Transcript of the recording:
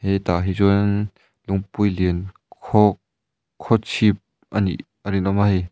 hetah hi chuan lungpui lian khaw khawchhip a nih a rinawm a hei --